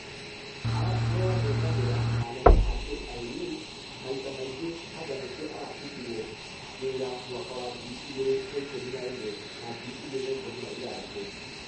Aragothanire na anene a kru maita mangĩ anga nĩkĩo arabutirwo wera mwaka wa ngiri igĩrĩ na ikũmi na ĩmwe na ngiri igĩrĩ na ikũmi na ithathatũ.